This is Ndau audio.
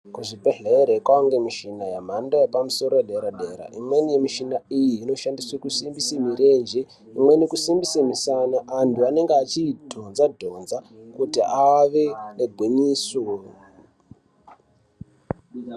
Kuzvibhedhlere kwaa ngemishina yemhando yepamusoro yedera-dera. Imweni yemishina iyi inoshandiswe kusimbise mirenje, imweni kusimbise misana. Antu anenge achiidhonza-dhonza kuti ave negwinyiso.